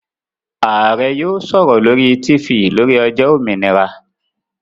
Ààrẹ́ yóò sọ̀rọ̀ lórí Tifì lórí ọjọ́ òmìnira